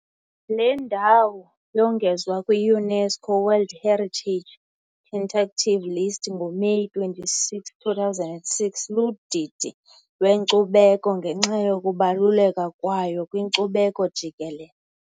Le ndawo yongezwa kwi-UNESCO World Heritage Tentative List ngoMeyi 26, 2006, kudidi lweNkcubeko ngenxa yokubaluleka kwayo kwinkcubeko jikelele.